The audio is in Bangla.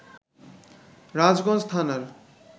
রাজগঞ্জ থানার